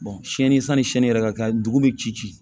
sanni sɛni yɛrɛ ka kɛ dugu bɛ ci ci